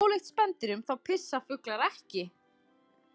Ólíkt spendýrum þá pissa fuglar ekki.